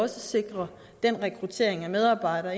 sikrer rekruttering af medarbejdere